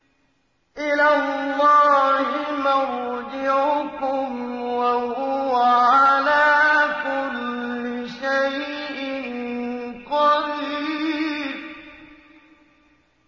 إِلَى اللَّهِ مَرْجِعُكُمْ ۖ وَهُوَ عَلَىٰ كُلِّ شَيْءٍ قَدِيرٌ